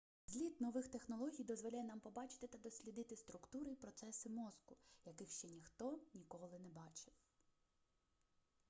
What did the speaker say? зліт нових технологій дозволяє нам побачити та дослідити структури і процеси мозку яких ще ніхто ніколи не бачив